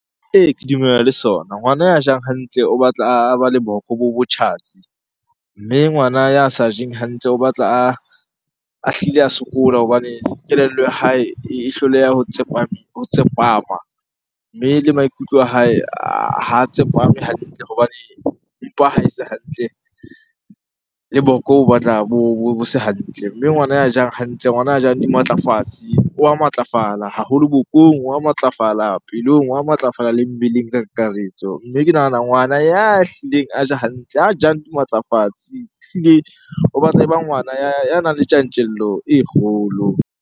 Ee, ke dumellana le sona. Ngwana ya jang hantle o batla a ba le boko botjhatsi, mme ngwana ya sa jeng hantle o batla a hlile a sokola hobane kelello ya hae e hloleha ho tsepama. Mme le maikutlo a hae ha tsepame hantle hobane mpa ha e se hantle le boko bo batla bo se hantle. Mme ngwana ya jang hantle, ngwana a jang dimatlafatsi oa matlafala haholo bokong, wa matlafala pelong, wa matlafala le mmeleng ka kakaretso. Mme ke nahana ngwana ya hlileng a ja hantle, a jang dimatlafatsi ehlile o batla e ba ngwana ya nang le tjantjello e kgolo.